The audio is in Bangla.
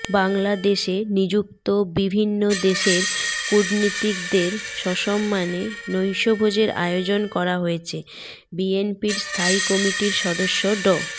বাংলাদেশে নিযুক্ত বিভিন্ন দেশের কূটনীতিকদের সাম্মানে নৈশভোজের আয়োজন করা হয়েছে বিএনপির স্থায়ী কমিটির সদস্য ড